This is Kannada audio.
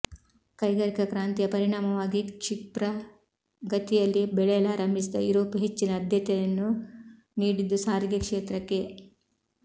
ಕೈಗಾರಿಕಾ ಕ್ರಾಂತಿಯ ಪರಿಣಾಮವಾಗಿ ಕ್ಷಿಪ್ರಗತಿಯಲ್ಲಿ ಬೆಳೆಯಲಾರಂಭಿಸಿದ ಯುರೋಪ್ ಹೆಚ್ಚಿನ ಅಧ್ಯತೆಯನ್ನು ನೀಡಿದ್ದು ಸಾರಿಗೆ ಕ್ಷೇತ್ರಕ್ಕೆ